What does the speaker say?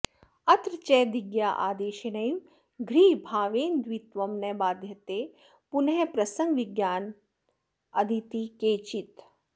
अत्र च दिग्यादेशेनैव घ्रीभावेन द्वित्वं न बाध्यते पुनः प्रसङ्गविज्ञानादिति केचित्